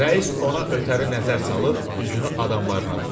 Rəis ona ötəri nəzər salıb üzünü adamlarına tutdu.